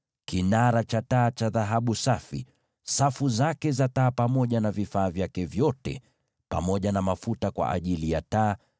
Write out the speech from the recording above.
kinara cha taa cha dhahabu safi, safu zake za taa pamoja na vifaa vyake vyote pamoja na mafuta kwa ajili ya taa;